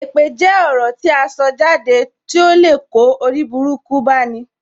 Èpè jẹ́ ọ̀rọ̀ tí aṣọ jáde to lè kó oriburuku bá ní.